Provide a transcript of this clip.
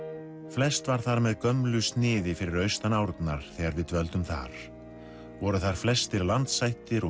flest var þar með gömlu sniði fyrir austan árnar þegar við dvöldum þar voru þar flestir landshættir og